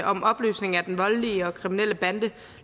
om opløsning af den voldelige og kriminelle bande